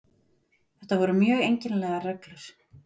Þetta voru mjög einkennilegar reglur